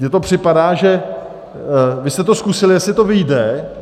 Mně to připadá, že vy jste to zkusili, jestli to vyjde.